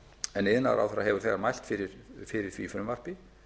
en iðnaðarráðherra hefur þegar mælt fyrir því frumvarpi